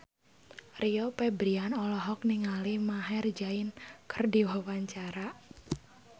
Rio Febrian olohok ningali Maher Zein keur diwawancara